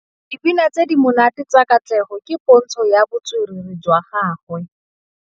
Dipina tse di monate tsa Katlego ke pôntshô ya botswerere jwa gagwe.